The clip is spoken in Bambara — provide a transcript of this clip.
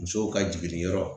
Musow ka jiginyɔrɔ